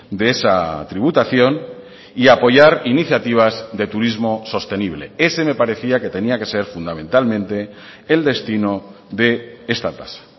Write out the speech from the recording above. de esa tributación y a apoyar iniciativas de turismo sostenible ese me parecía que tenía que ser fundamentalmente el destino de esta tasa